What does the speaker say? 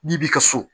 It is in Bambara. N'i b'i ka so